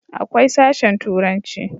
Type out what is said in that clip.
akwai sashen turanci